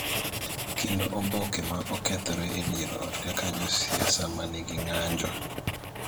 kendo oboke ma okethore e dier ot kaka josiasa ma nigi ng�anjo